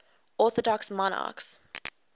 orthodox monarchs